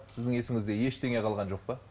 сіздің есіңізде ештеңе қалған жоқ па